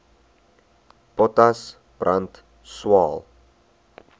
potas brand swael